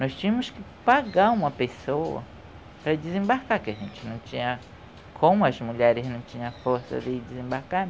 Nós tínhamos que pagar uma pessoa para desembarcar, porque a gente não tinha... Como as mulheres não tinham força de desembarcar,